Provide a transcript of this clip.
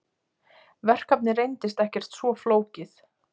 Verkefnið reyndist ekkert svo flókið.